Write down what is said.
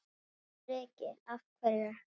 Breki: Af hverju?